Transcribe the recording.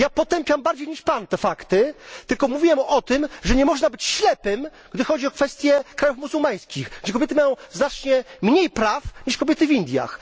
Ja potępiam bardziej niż Pan te fakty, tylko mówiłem o tym, że nie można być ślepym, gdy chodzi o kwestie krajów muzułmańskich, gdzie kobiety mają znacznie mniej praw niż kobiety w Indiach.